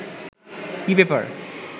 কী ব্যাপার